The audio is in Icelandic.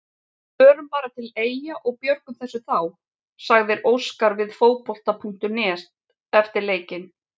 Við förum bara til Eyja og björgum þessu þá, sagði Óskar við Fótbolta.net eftir leikinn.